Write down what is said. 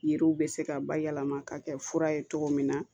Yiriw bɛ se ka bayɛlɛma ka kɛ fura ye cogo min na